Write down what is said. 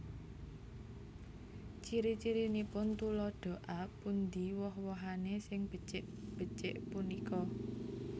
Ciri cirinipun Tuladha A Pundi woh wohané sing becik becik punika